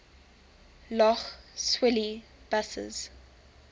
lough swilly buses